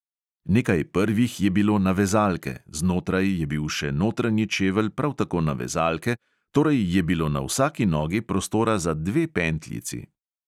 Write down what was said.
Nekaj prvih je bilo na vezalke, znotraj je bil še notranji čevelj, prav tako na vezalke, torej je bilo na vsaki nogi prostora za dve pentljici.